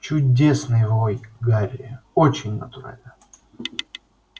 чудесный вой гарри очень натурально